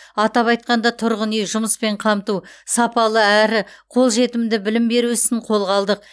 атап айтқанда тұрғын үй жұмыспен қамту сапалы әрі қолжетімді білім беру ісін қолға алдық